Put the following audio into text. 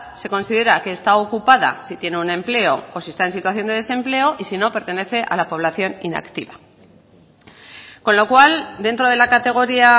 se considera que está ocupada si tiene un empleo o si está en situación de desempleo y si no pertenece a la población inactiva con lo cual dentro de la categoría